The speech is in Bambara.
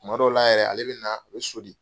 Kuma dɔw la yɛrɛ, ale bɛ na, o bɛ soli